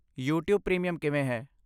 YouTube premium ਕਿਵੇਂ ਹੈ?